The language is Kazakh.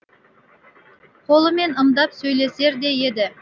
қолымен ымдап сөйлесер де еді